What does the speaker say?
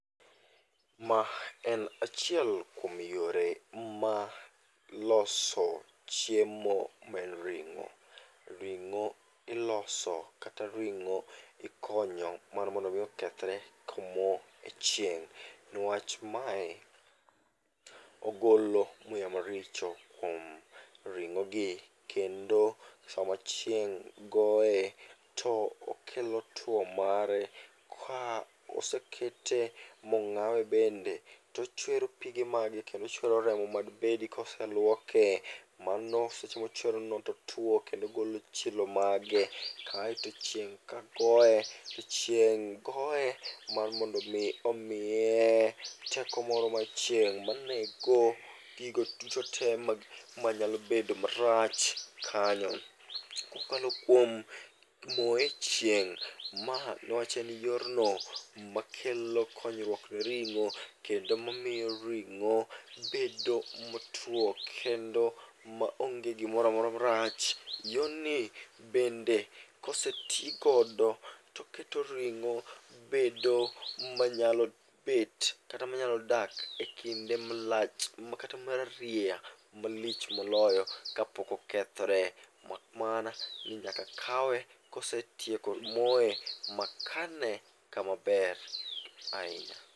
Ma en achiel kuom yore ma loso chiemo maen ring'o. Ring'o iloso kata ring'o ikonyo mar mondo mi okethre komo e chieng' niwach mae ogolo muya maricho kuom ring'o gi. Kendo sama chieng' goye, to okelo tuo mare ka osekete mong'awe bende, tochwero pige mage kendo ochwero remo madbedi koseluoke. Mano seche mochwerono totwo kendo ogolo chilo mage, kaeto chieng' ka goe, to chieng' goe mar mondo mi omiye teko moro mar chieng' manego gigo duto te manyalo bedo marach kanyo. Kokalo kuom moye e chieng', ma niwach en yorno makelo konyruok ne ring'o kendo mamiyo ring'o bedo motuo kendo maonge gimoramora marach. Yorni bende koseti godo toketo ring'o bedo manyalo bet kata manyalo dak e kinde malach kata marerieya malich moloyo kapokokethore. Mak mana ni nyaka kawe kosetieko moye ma kane kamaber ahinya.